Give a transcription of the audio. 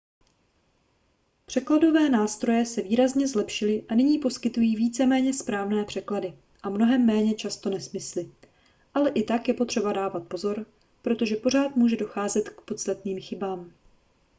překladové nástroje se výrazně zlepšily a nyní poskytují víceméně správné překlady a mnohem méně často nesmysly ale i tak je potřeba dávat pozor protože pořád může docházet k podstatným chybám